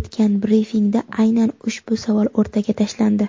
o‘tgan brifingda aynan ushbu savol o‘rtaga tashlandi.